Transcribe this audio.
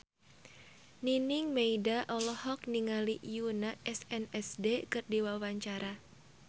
Nining Meida olohok ningali Yoona SNSD keur diwawancara